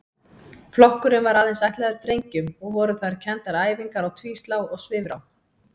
Flokkurinn var aðeins ætlaður drengjum og voru þar kenndar æfingar á tvíslá og svifrá.